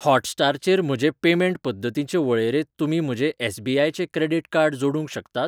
Hotstar चेर म्हजे payment पद्दतींचे वळेरेंत तुमी म्हजें एस.बी.आय. चें क्रेडिट कार्ड जोडूंक शकतात?